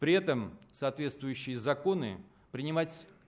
при этом соответствующие законы принимать